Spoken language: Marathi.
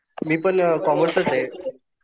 मी पण कॉमर्सच